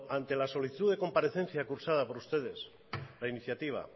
ante la solicitud de comparecencia cursada por ustedes la iniciativa